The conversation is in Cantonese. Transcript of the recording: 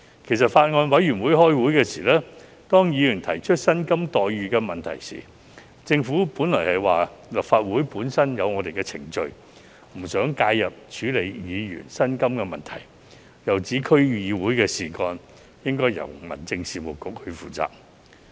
其實，在法案委員會會議期間，當議員提出薪酬待遇問題時，政府本來表示立法會本身有既定程序，不想介入處理議員的薪酬問題，又指區議會事宜應由民政事務局負責。